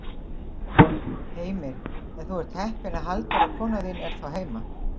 Heimir: En þú ert heppinn að Halldóra kona þín er þá heima?